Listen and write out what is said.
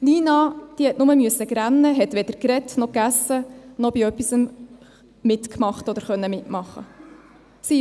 Nina musste nur weinen, hat weder gesprochen noch gegessen, noch bei etwas mitgemacht oder mitmachen können.